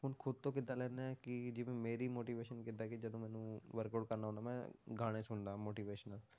ਹੁਣ ਖੁੱਦ ਤੋਂ ਕਿੱਦਾਂ ਲੈਂਦੇ ਹਾਂ ਕਿ ਜਿਵੇਂ ਮੇਰੀ motivation ਕਿੱਦਾਂ ਕਿ ਜਦੋਂ ਮੈਨੂੰ workout ਕਰਨਾ ਹੁੰਦਾ ਮੈਂ ਗਾਣੇ ਸੁਣਦਾ motivational